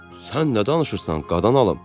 "Sən nə danışırsan, qadan alım?"